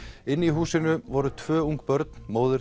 inni í húsinu voru tvo ung börn móðir